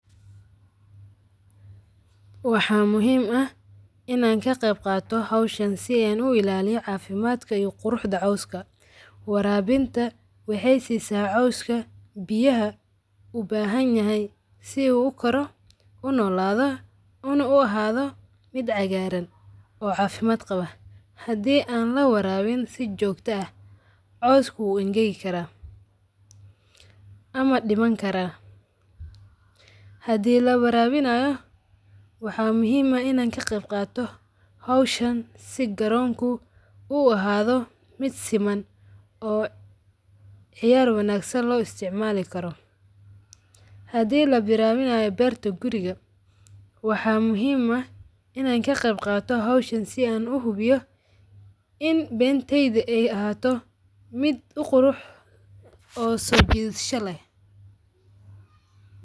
Waxa muhiim aah inaa ka qeebqato sidhan u ilaliyo cafimadka iyo quruxda cawska. Waraabinta waxay si saa cawska biyaha uu bahanyahay sidhu ukaro, unooladho, una uhadho mid cagaran oo cafimaad qawa. Hadii an lawarawin si joogta aah cawska uu angaki karaa ama diman karaa. Hadi lawarawinayo waxa muhiim eeh inan ka qayb qato hawshan si garoonko u ahadho mid siman oo xiyar wangsan loo isticmali karoo. Hadii lawarawinayo beerta guriga waxaa muhiim ah ina ka qayb qaato hawshan si an uhubiyo in beentaydi ay ahato mid uqurux oo soo jidhasha leeh.